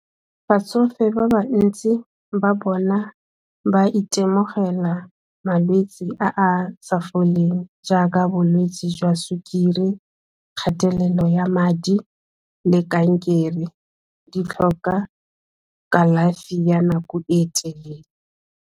Batsofe ba ba ntsi ba bona ba itemogela malwetse a a sa foleng jaaka bolwetse jwa sukiri kgatelelo ya madi le kankere di tlhoka kalafi ya nako e e telele.